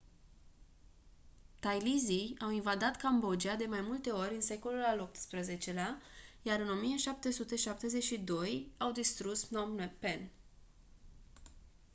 thailizii au invadat cambodgia de mai multe ori în secolul al xviii-lea iar în 1772 au distrus phnom phen